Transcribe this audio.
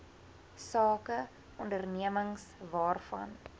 sake ondernemings waarvan